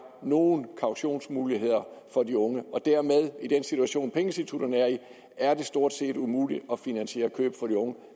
nogen kautionsmuligheder for de unge og dermed er i den situation pengeinstitutterne er i stort set umuligt at finansiere køb for de unge